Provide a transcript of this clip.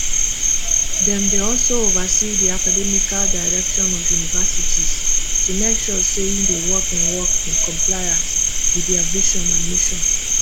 dem dey also oversee di academical direction of universities to make sure say e dey work in work in compliance wit dia vison and mission